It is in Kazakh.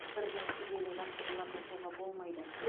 бірден күрделі жаттығулар жасауға болмайды